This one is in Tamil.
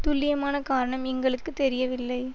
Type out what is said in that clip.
துல்லியமான காரணம் எங்களுக்கு தெரியவில்லை